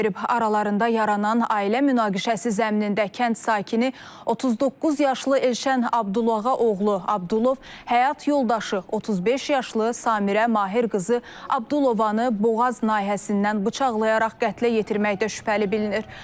Aralarında yaranan ailə münaqişəsi zəminində kənd sakini 39 yaşlı Elşən Abdulağa oğlu Abdulov həyat yoldaşı 35 yaşlı Samirə Mahir qızı Abdulovanı boğaz nahiyəsindən bıçaqlayaraq qətlə yetirməkdə şübhəli bilinir.